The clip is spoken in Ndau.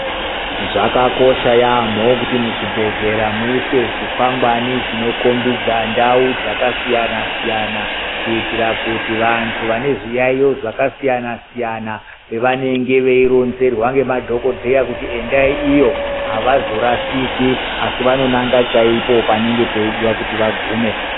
Zvakakosha yaamho kuti muzvibhedhleya muiswe zvikwangwari zvinokhombida ndau dzakasiyana siyana kuitira kuti vanhu vane zviyaiyo zvakasiyana siyana veironzerwa ngemadhokodheya kuti endai iyo avazorashiki asi vanonanga chaipo panenge veidiwa kuti vagume.